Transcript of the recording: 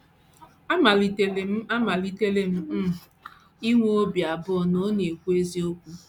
Amalitere m Amalitere m um inwe obi abụọ ma ọ̀ na - ekwu eziokwu. ”